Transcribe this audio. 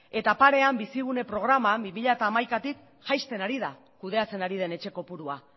eta parean bizigune programa bi mila hamaikatik jaisten ari da kudeatzen ari den etxe kopurua